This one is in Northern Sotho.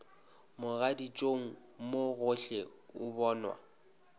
mogaditšong mo gohle o bonwa